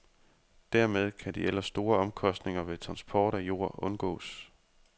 Dermed kan de ellers store omkostninger ved transport af jord undgås.